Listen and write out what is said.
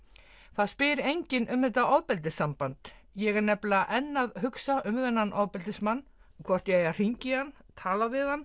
það spyr enginn um þetta ofbeldissamband ég er nefnilega enn að hugsa um þennan ofbeldismann hvort ég eigi að hringja í hann tala við hann